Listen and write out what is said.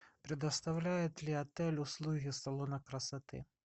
предоставляет ли отель услуги салона красоты